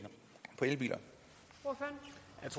det